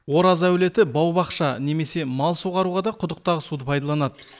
ораз әулеті бау бақша немесе мал суғаруға да құдықтағы суды пайдаланады